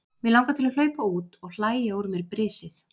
Mig langar til að hlaupa út og hlæja úr mér brisið.